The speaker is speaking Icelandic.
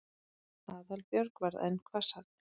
Aðalbjörg varð enn hvassari.